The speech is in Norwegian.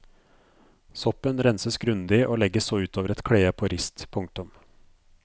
Soppen renses grundig og legges så ut over et klede på rist. punktum